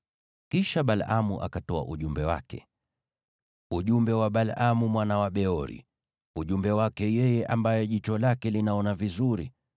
Kisha Balaamu akatoa ujumbe wake: “Ujumbe wa Balaamu mwana wa Beori, ujumbe wake yeye ambaye jicho lake linaona vizuri;